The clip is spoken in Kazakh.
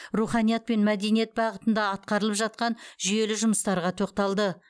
руханият пен мәдениет бағытында атқарылып жатқан жүйелі жұмыстарға тоқталды